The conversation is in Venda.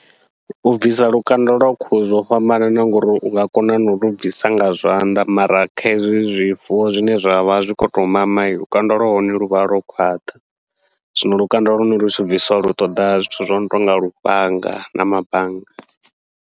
U bvisa lukanda lwa khuhu zwo fhambanana, ngori unga kona nau lu bvisa nga zwanḓa mara kha hezwi zwifuwo zwine zwavha zwi khou tou mama, lukanda lwa hone luvha lwo khwaṱha. Zwino lukanda lune lutshi bvisiwa lu ṱoḓa zwithu zwono tonga lufhanga na mabanga.